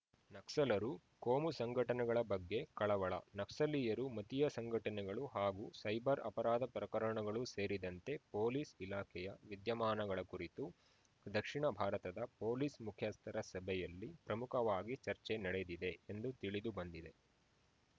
ನಕ್ಸಲರು ಕೋಮು ಸಂಘಟನೆಗಳ ಬಗ್ಗೆ ಕಳವಳ ನಕ್ಸಲೀಯರು ಮತೀಯ ಸಂಘಟನೆಗಳು ಹಾಗೂ ಸೈಬರ್‌ ಅಪರಾಧ ಪ್ರಕರಣಗಳು ಸೇರಿದಂತೆ ಪೊಲೀಸ್‌ ಇಲಾಖೆಯ ವಿದ್ಯಮಾನಗಳ ಕುರಿತು ದಕ್ಷಿಣ ಭಾರತದ ಪೊಲೀಸ್‌ ಮುಖ್ಯಸ್ಥರ ಸಭೆಯಲ್ಲಿ ಪ್ರಮುಖವಾಗಿ ಚರ್ಚೆ ನಡೆದಿದೆ ಎಂದು ತಿಳಿದು ಬಂದಿದೆ